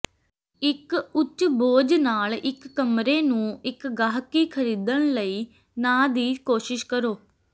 ਇੱਕ ਉੱਚ ਬੋਝ ਨਾਲ ਇੱਕ ਕਮਰੇ ਨੂੰ ਇੱਕ ਗਾਹਕੀ ਖਰੀਦਣ ਲਈ ਨਾ ਦੀ ਕੋਸ਼ਿਸ਼ ਕਰੋ